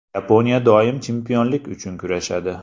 Yaponiya doim chempionlik uchun kurashadi.